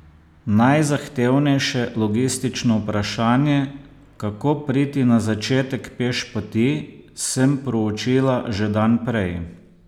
Najzahtevnejše logistično vprašanje, kako priti na začetek pešpoti, sem proučila že dan prej.